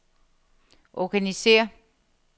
organisér